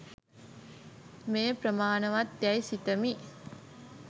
මේ ප්‍රමාණවත් යැයි සිතමි